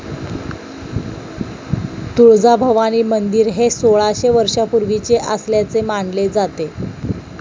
तुळजाभवानी मंदिर हे सोळाशे वर्षापूर्वीचे असल्याचे मानले जाते.